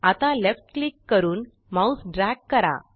आता left click करून mouse drag करा